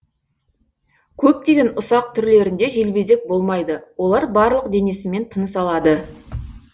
көптеген ұсақ түрлерінде желбезек болмайды олар барлық денесімен тыныс алады